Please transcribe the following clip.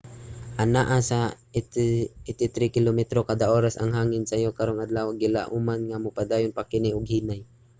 anaa sa 83 kilometro kada oras ang hangin sayo karong adlawa ug gilauman nga mopadayon pa kini og hinay